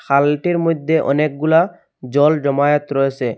খালটির মধ্যে অনেকগুলা জল জমায়েত রয়েসে।